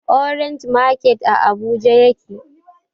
Orange market a abuja yake